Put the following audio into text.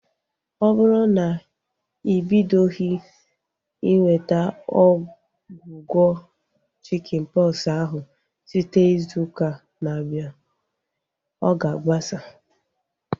Ọ bụrụ na ị bidoghi inweta ọgwụgwọ chikin pọksi ahu site izu ụka na-abịa, ọ ga agbasa